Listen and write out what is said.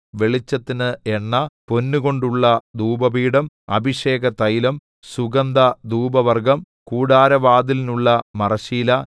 വെളിച്ചത്തിന് എണ്ണ പൊന്നുകൊണ്ടുള്ള ധൂപപീഠം അഭിഷേകതൈലം സുഗന്ധധൂപവർഗ്ഗം കൂടാരവാതിലിനുള്ള മറശ്ശീല